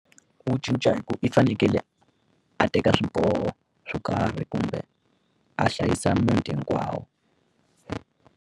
Ku cinca hi ku i fanekele a teka swiboho swo karhi kumbe a hlayisa muti hinkwawo.